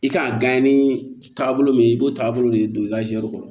I kan ka gan ni taagabolo min i b'o taabolo de don i ka jaa go